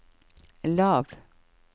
lav